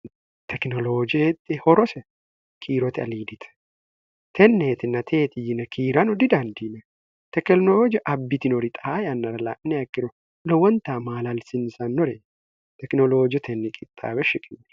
tekinoloojeexxe horose kiirote aliidite tenneetinateeti yine kiiranu didandiime tekelinooji abbitinori xaa yannara la'ne akkiro lo wonta maalalsinsannore tekinoloojo tenni qixxaabe shikin